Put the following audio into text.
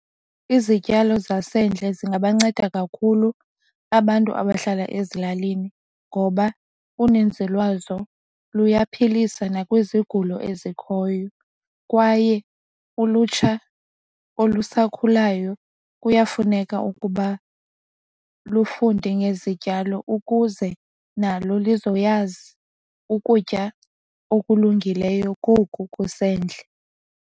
Izityalo zasendle zingabanceda kakhulu abantu abahlala ezilalini ngoba uninzi lwazo luyaphilisa nakwizigulo ezikhoyo kwaye ulutsha olusakhulayo kuyafuneka ukuba lufunde ngezityalo ukuze nalo lizoyazi ukutya okulungileyo koku kusendle.